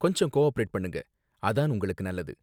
கொஞ்சம் கோஆபரேட் பண்ணுங்க, அதான் உங்களுக்கு நல்லது